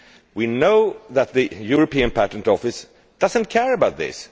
We know that the European Patent Office does not care about this.